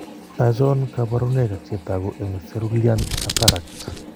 Achon kaborunoik ak chetogu eng cerulean cataract